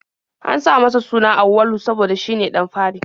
An sa masa suna Auwalu saboda shine ɗan fari.